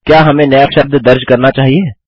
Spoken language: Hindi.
क्या हमें नया शब्द दर्ज़ करना चाहिए